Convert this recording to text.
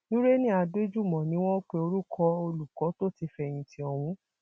nureni adéjúmọ ni wọn pe orúkọ olùkọ tó ti fẹyìntì ọhún